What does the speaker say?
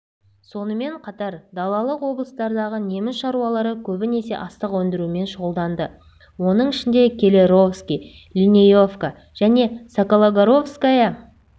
сонымен қатар далалық облыстардағы неміс шаруалары көбінесе астық өндірумен шұғылданды оның ішінде келлеровский линеевка және сокологоровская